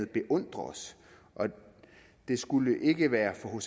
beundrer os og det skulle ikke være for